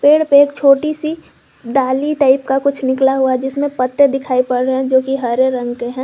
पेड़ पर छोटी सी डाली टाइप का कुछ निकला हुआ है जिसमें पत्ते दिखाई पड़ रहे हैं जोकि हरे रंग के हैं।